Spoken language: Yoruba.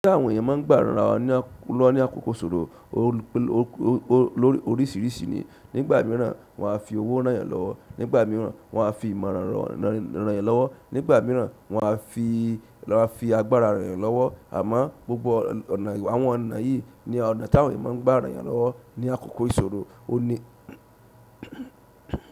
Tí àwọn ènìyàn máa ń gbà ranra wọn lọ́wọ́ ní àkókò ìṣòro oríṣiríṣi ní, nígbà míràn wọn a fi owó ranyan wọn lọ́wọ́, nígbà míràn wọn a fi ìmọ̀ran ranyan lọ́wọ́, nígbà míràn wọn a fi agbára ranyan lọ́wọ́. Àmọ́ gbogbo àwọn ọ̀nà yìí ni ọ̀nà tí àwọn ènìyàn máa ń gbà ranyan lọ́wọ́ ní àkókò ìṣòro ọ ni.